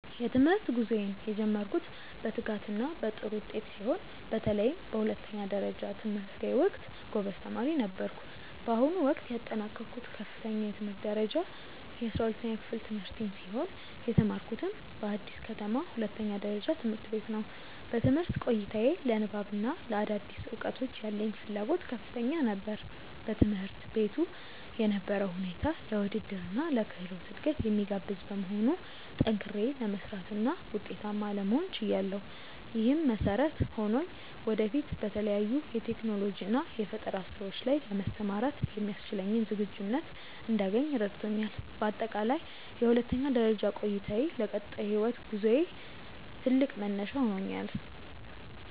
የትምህርት ጉዞዬን የጀመርኩት በትጋትና በጥሩ ውጤት ሲሆን፣ በተለይም በሁለተኛ ደረጃ ትምህርቴ ወቅት ጎበዝ ተማሪ ነበርኩ። በአሁኑ ወቅት ያጠናቀቅኩት ከፍተኛ የትምህርት ደረጃ የ12ኛ ክፍል ትምህርቴን ሲሆን፣ የተማርኩትም በአዲስ ከተማ ሁለተኛ ደረጃ ትምህርት ቤት ነው። በትምህርት ቆይታዬ ለንባብና ለአዳዲስ እውቀቶች ያለኝ ፍላጎት ከፍተኛ ነበር። በትምህርት ቤቱ የነበረው ሁኔታ ለውድድርና ለክህሎት እድገት የሚጋብዝ በመሆኑ፣ ጠንክሬ ለመስራትና ውጤታማ ለመሆን ችያለሁ። ይህም መሰረት ሆኖኝ ወደፊት በተለያዩ የቴክኖሎጂና የፈጠራ ስራዎች ላይ ለመሰማራት የሚያስችለኝን ዝግጁነት እንዳገኝ ረድቶኛል። በአጠቃላይ የሁለተኛ ደረጃ ቆይታዬ ለቀጣይ የህይወት ጉዞዬ ትልቅ መነሻ ሆኖኛል።